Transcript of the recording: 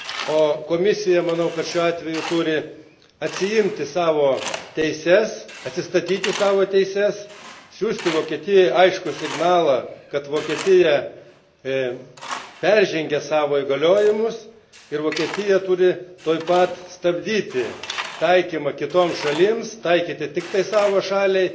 O Komisija, manau, šiuo atveju turi atsiimti savo teisę, atsistatyti savo teises, siųsti Vokietijai aiškų signalą, kad Vokietija peržengė savo įgaliojimus ir Vokietija turi tuoj pat stabdyti taikymą kitoms šalims, juos taikyti tik tai savo šaliai.